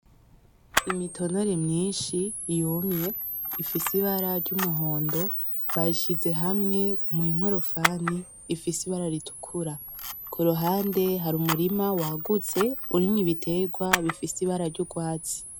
Imitonore myinshi yumye ifise ibara ry'umuhondo bazishize hamwe munkorofani ifise ibara ritukura. kuruhande hari umurima wagutse urimwo ibiterwa bifise ibara ryurwatsi.